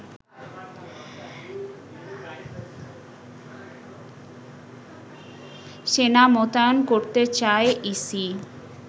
সেনা মোতায়েন করতে চায় ইসি